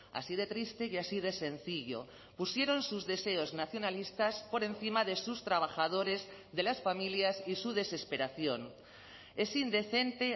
así de triste y así de sencillo pusieron sus deseos nacionalistas por encima de sus trabajadores de las familias y su desesperación es indecente